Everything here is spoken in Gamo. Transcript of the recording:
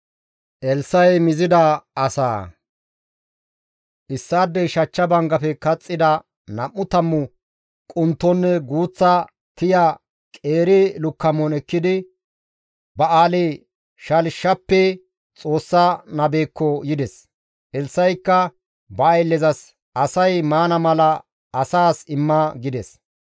Issaadey shachcha banggafe kaxxida nam7u tammu quntonne guuththa tiya qeeri lukkamon ekkidi Ba7aali-Shalishappe Xoossa nabekko yides. Elssa7ikka ba ayllezas, «Asay maana mala asaas imma» gides.